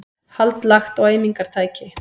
Hald lagt á eimingartæki